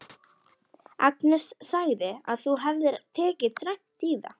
Agnes sagði að þú hefðir tekið dræmt í það.